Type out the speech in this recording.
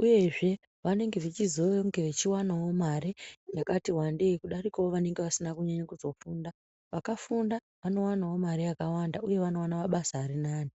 uyezve vanenge vachizonge vechiwanawo mare yakatiwandei kudarika vanenge vasina kunyanye kuzofunda ,vakafunda vanowanawo mare yakawanda uye vanowana mabasa arinani.